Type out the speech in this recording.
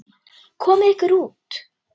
Komiði ykkur út.